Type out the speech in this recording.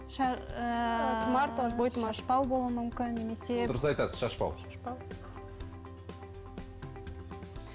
шашбау болуы мүмкін немесе дұрыс айтасыз шашбау шашбау